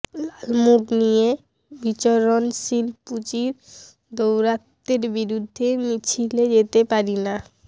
লালমুখ নিয়ে বিচরণশীল পুঁজির দৌরাত্ম্যের বিরুদ্ধে মিছিলে যেতে পারি না